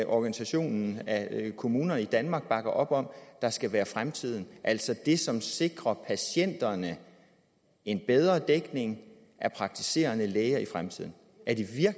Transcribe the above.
organisationen af kommuner i danmark bakker op om der skal være fremtiden altså det som sikrer patienterne en bedre dækning af praktiserende læger i fremtiden